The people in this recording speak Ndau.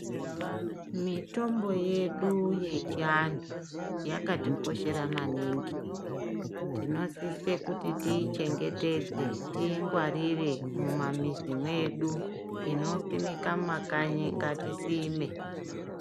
Mitombo yedu yechiantu yakatikoshera maningi tinosise kuti tiichengetedze toingwarire mumamizi medu , inosimika mumakanyi ngatisime.